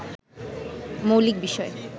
মৌলিক বিষয়